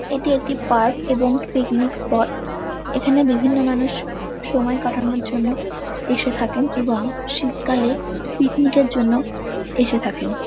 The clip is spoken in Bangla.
এটি একটি পার্ক এবং পিকনিক স্পট এখানে বিভিন্ন মানুষ সময় কাটানোর জন্য এসে থাকেন এবং শীতকালে পিকনিক -এর জন্য এসে থাকেন।